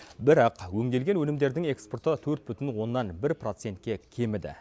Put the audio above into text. бірақ өңделген өнімдердің экспорты төрт бүтін оннан бір процентке кеміді